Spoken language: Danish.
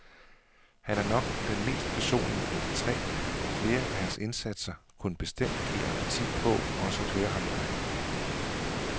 Han er nok den mest personlige af de tre, og flere af hans indsatser kunne bestemt give appetit på også at høre ham live.